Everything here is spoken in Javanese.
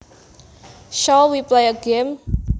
Shall we play a game